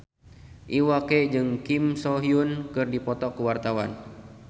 Iwa K jeung Kim So Hyun keur dipoto ku wartawan